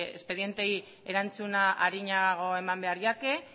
espedienteei erantzuna arinago eman behar iake